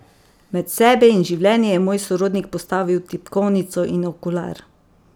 Med sebe in življenje je moj sorodnik postavil tipkovnico in okular.